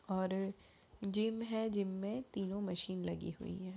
और जिम है जिम में तीनों मशीन लगी हुई है।